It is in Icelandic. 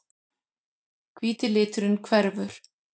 Hvíti liturinn hverfur.